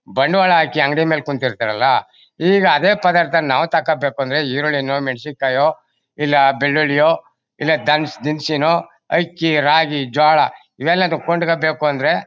ಬಂಡವಾಳ ಹಾಕಿ ಅಂಗಡಿ ಮೇಲೆ ಕೂತಿರ್ತರಲ್ಲ ಈಗ ಅದೇ ಪಧಾರ್ಥ ನಾವು ತೊಗೋಬೇಕಂದ್ರೆ ಇರುಳಿನೊ ಮೆನ್ಷಿನಕಾಯಿಯೋ ಇಲ್ಲಾ ಬೆಳ್ಳುಳಿಯೋ ಇಲ್ಲಾ ಧನ್ಸ್ ದಿನ್ಸಿನೋ ಅಕ್ಕಿ ರಾಗಿ ಜೋಳ ಇವೆಲ್ಲನೂ ಕೊಂಡ್ಕೋಬೇಕಂದ್ರೆ